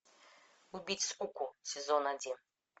убить скуку сезон один